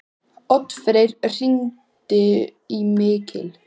Oddfreyr, hringdu í Mikil.